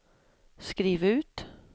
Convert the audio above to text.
skriv ut